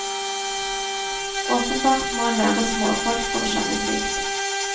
Åpenbart må en være småfolk for å skjønne slikt.